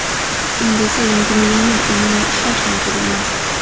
Endi esa yangi millioner umuman ishlash niyatida emas.